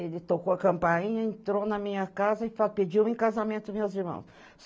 Ele tocou a campainha, entrou na minha casa e fa pediu o em casamento meus irmãos.